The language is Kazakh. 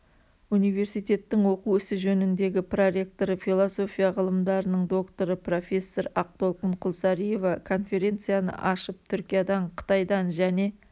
университеттің оқу ісі жөніндегі проректоры философия ғылымдарының докторы профессор ақтолқын құлсариева конференцияны ашып түркиядан қытайдан және